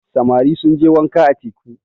samari sun je wànka a teku